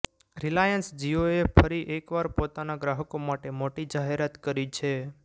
Reliance જિઓએ ફરી એકવાર પોતાના ગ્રાહકો માટે મોટી જાહેરાત કરી છે